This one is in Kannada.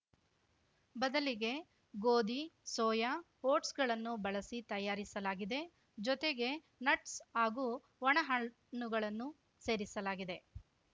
ಬದಲಿಗೆ ಗೋಧಿ ಸೋಯಾ ಓಟ್ಸ್‌ಗಳನ್ನು ಬಳಸಿ ತಯಾರಿಸಲಾಗಿದೆ ಜೊತೆಗೆ ನಟ್ಸ್‌ ಹಾಗೂ ಒಣಹಣ್ಣುಗಳನ್ನು ಸೇರಿಸಲಾಗಿದೆ